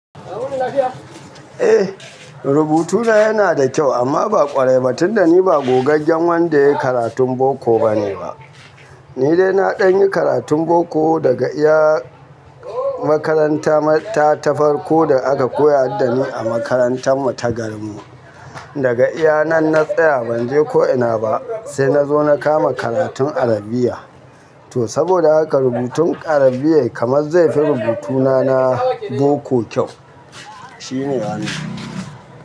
Eh, rubutuna yana da kyau amma ba ƙwarai ba tun da ni ba gogaggen wanda yayi karatun boko ba ne ba. Ni dai na ɗan yi karatun boko daga iya makaranta ta farko da aka koya haddani a makarantar mu ta garin mu. Daga iya nan na tsaya ban je ko ina ba sai na zo na kama karatun Arabiya. To saboda haka rubutun Arabiyar kamar zai fi rubutu na na boko kyau. Shi ne yane.